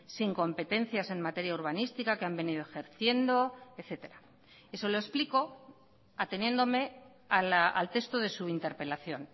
sin competencias en materia urbanística que han venido ejerciendo etcétera eso lo explico ateniéndome al texto de su interpelación